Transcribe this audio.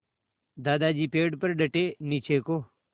दादाजी पेड़ पर डटे नीचे को